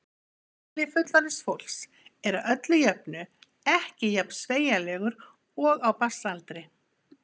Heili fullorðins fólks er að öllu jöfnu ekki jafn sveigjanlegur og á barns aldri.